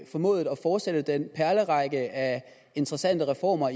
formået at fortsætte den perlerække af interessante reformer